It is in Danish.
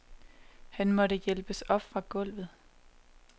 Han måtte hjælpes op fra gulvet.